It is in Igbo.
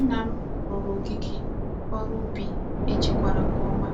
Nna m ruru ogige órú ubi e chekwara nke oma